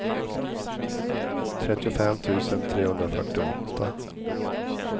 trettiofem tusen trehundrafyrtioåtta